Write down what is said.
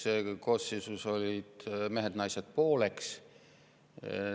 Eelmises koosseisus olid mehed ja naised pooleks.